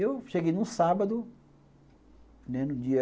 E eu cheguei num sábado, né, no dia...